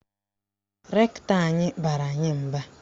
Rektọ anyị bara anyị mba.